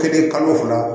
Kelen kalo fila